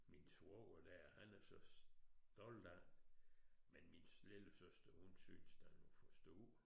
Min svoger der han er så stolt af men min lillesøster hun synes den er for stor